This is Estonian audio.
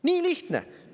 Nii lihtne!